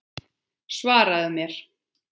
Svaraðu mér!